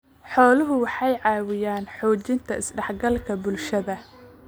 Xooluhu waxay caawiyaan xoojinta is-dhexgalka bulshada.